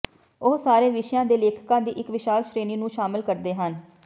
ਉਹ ਸਾਰੇ ਵਿਸ਼ਿਆਂ ਦੇ ਲੇਖਕਾਂ ਦੀ ਇਕ ਵਿਸ਼ਾਲ ਸ਼੍ਰੇਣੀ ਨੂੰ ਸ਼ਾਮਲ ਕਰਦੇ ਹਨ